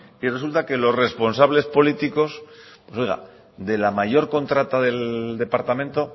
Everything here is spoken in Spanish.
y resulta que los responsables políticos de la mayor contrata del departamento